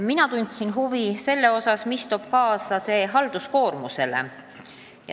Mina tundsin huvi, kuidas mõjub muudatus halduskoormusele.